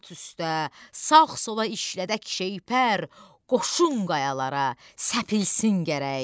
At üstə sağ-sola işlədək şeypər, qoşun qayalara səpilsin gərək.